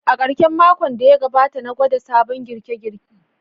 A karshen makon da ya gabata, na gwada sabon girke-girke.